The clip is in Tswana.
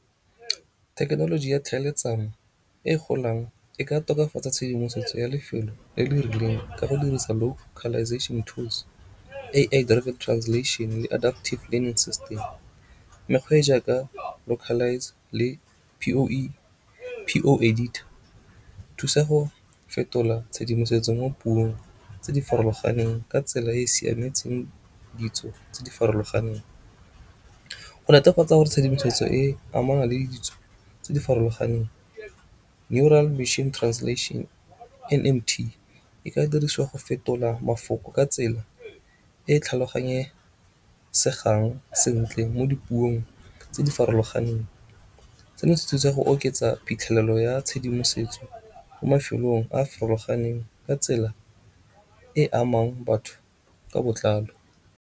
Thekenoloji ya tlhaeletsano e golang e ka tokafatsa tshedimosetso ya lefelo le le rileng ka go dirisa localisation tools, translation le adaptive system. Mekgwa e e jaaka localise le P_O Editor di thusa go fetola tshedimosetso mo puong tse di farologaneng ka tsela e e siametseng ditso tse di farologaneng. Go netefatsa gore tshedimosetso e e amanang le ditso tse di farologaneng Neural Mission Translation N_M_T e ka dirisiwa go fetola mafoko ka tsela e tlhaloganyesegang sentle mo dipuong tse di farologaneng. Seno se thusa go oketsa phitlhelelo ya tshedimosetso mo mafelong a farologaneng ka tsela e amang batho ka botlalo.